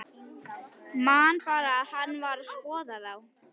Man bara að hann var að skoða þá.